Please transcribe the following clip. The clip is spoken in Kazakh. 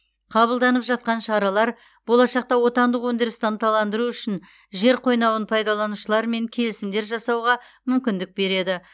қабылданып жатқан шаралар болашақта отандық өндірісті ынталандыру үшін жер қойнауын пайдаланушылармен келісімдер жасауға мүмкіндік береді